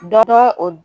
Dɔ o